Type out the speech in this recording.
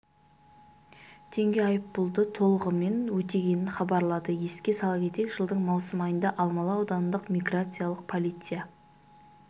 теңге айыппұлды толғымен өтегенін хабарлады еске сала кетейік жылдың маусым айында алмалы аудандық миграциялық полиция